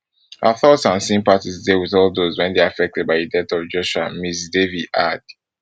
our thoughts and sympathies dey wit all dose wey dey affected by di death of joshua ms davie add